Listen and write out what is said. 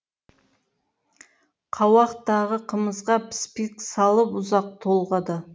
қауақтағы қымызға піспек салып ұзақ толғады